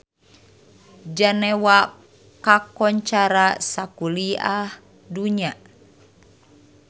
Jenewa kakoncara sakuliah dunya